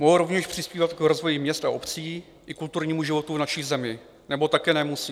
Mohou rovněž přispívat k rozvoji měst a obcí i kulturnímu životu v naší zemi - nebo také nemusí.